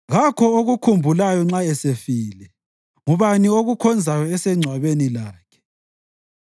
Kakho okukhumbulayo nxa esefile. Ngubani okukhonzayo esengcwabeni lakhe?